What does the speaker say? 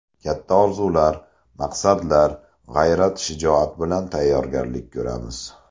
Katta orzular, maqsadlar, g‘ayrat-shijoat bilan tayyorgarlik ko‘ramiz.